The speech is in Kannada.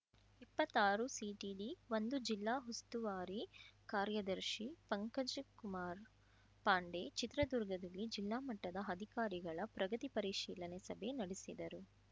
ಇಪ್ಪತ್ತಾರುಸಿಟಿಡಿಒಂದು ಜಿಲ್ಲಾ ಉಸ್ತುವಾರಿ ಕಾರ್ಯದರ್ಶಿ ಪಂಕಜಕುಮಾರ್‌ ಪಾಂಡೆ ಚಿತ್ರದುರ್ಗದಲ್ಲಿ ಜಿಲ್ಲಾ ಮಟ್ಟದ ಅಧಿಕಾರಿಗಳ ಪ್ರಗತಿ ಪರಿಶೀಲನೆ ಸಭೆ ನಡೆಸಿದರು